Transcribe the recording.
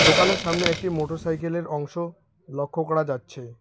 দোকানের সামনে একটি মোটরসাইকেলের অংশ লক্ষ্য করা যাচ্ছে।